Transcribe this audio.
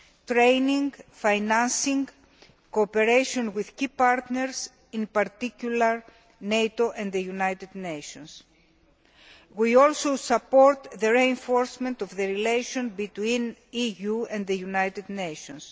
training, financing, and cooperation with key partners, in particular, NATO and the United Nations. We also support the reinforcement of relations between the EU and the United Nations.